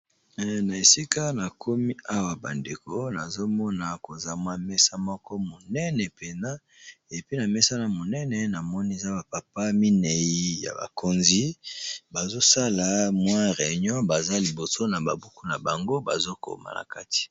na esika na komi awa bandeko nazomona koza mwa mesa moko monene pena epe na mesa na monene na moniza bapapa minei ya bakonzi bazosala mwi réignon baza liboso na babuku na bango bazokoma na kati